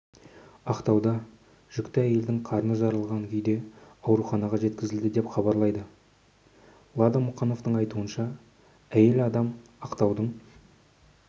ақтауда жүкті әйел қарны жарылған күйде ауруханаға жеткізілді деп хабарлайды лада мұқановтың айтуынша әйел адам ақтаудың